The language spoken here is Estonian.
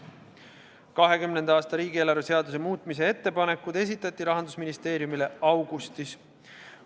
2020. aasta riigieelarve seaduse muutmise ettepanekud esitati Rahandusministeeriumile augustis.